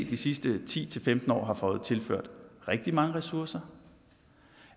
de sidste ti til femten år har fået tilført rigtig mange ressourcer